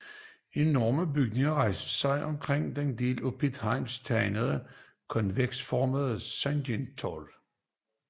Enorme bygninger rejser sig omkring det af Piet Hein tegnede konveksformede Sergels Torg